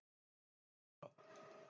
Segja mér hvað?